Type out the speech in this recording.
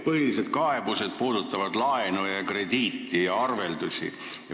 Põhilised kaebused puudutavad laenu, krediiti ja arveldusi.